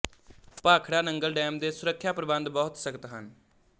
Bhakra Nangal dam ਦੇ ਸੁਰੱਖਿਆ ਪ੍ਰਬੰਧ ਬਹੁਤ ਸਖ਼ਤ ਹਨ